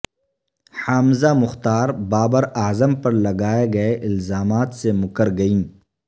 حامزہ مختار بابر اعظم پر لگائے گئے الزامات سے مکر گئیں